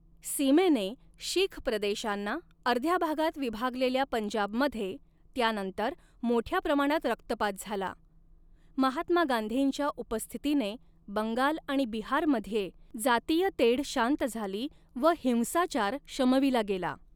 सीमेने शीख प्रदेशांना अर्ध्या भागात विभागलेल्या पंजाबमध्ये त्यानंतर मोठ्या प्रमाणात रक्तपात झाला, महात्मा गांधींच्या उपस्थितीने बंगाल आणि बिहारमध्ये जातीय तेढ शांत झाली व हिंसाचार शमविला गेला.